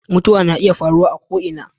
mutuwa na iya faruwa a ko ina